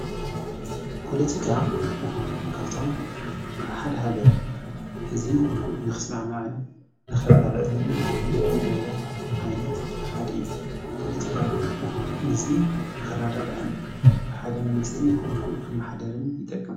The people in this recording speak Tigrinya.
ጶሎቲካ ካብቶም ኣ ሓደ ሃገር ሕዚ ንኽስማዕ መኣን ነኽራዳዳሎምን ዝጐብሮ ኣይነት ሓድኢ ጶሎቲካ ሕዙይ ነኽራዳ ዳኣን ብሓደ መንግሥቲ ንኽማኃደርን ይጠቅም።